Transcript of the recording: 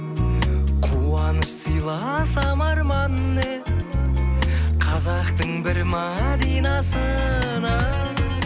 қуаныш сыйласам арман не қазақтың бір мәдинасына